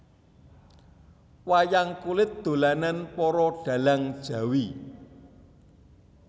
Wayang kulit dolanan para dhalang Jawi